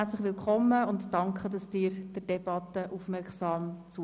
Herzlich willkommen, und danke, dass Sie der Debatte aufmerksam zuhören.